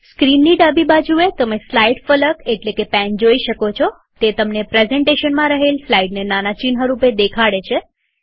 સ્ક્રીનની ડાબી બાજુએતમે સ્લાઈડ્સ ફલક એટલેકે પેન જોઈ શકો છોતે તમને પ્રેઝન્ટેશનમાં રહેલ સ્લાઈડ્સને નાના ચિહ્ન રૂપે દેખાડે છે